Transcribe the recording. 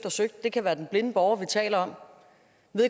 og søgt det kan være den blinde borger vi taler om